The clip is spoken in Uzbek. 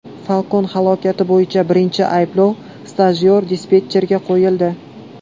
Falcon halokati bo‘yicha birinchi ayblov stajyor dispetcherga qo‘yildi.